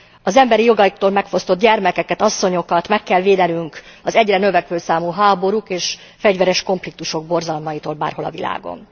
Az emberi jogaiktól megfosztott gyermekeket, asszonyokat meg kell védenünk az egyre növekvő számú háborúk és fegyveres konfliktusok borzalmaitól bárhol a világon.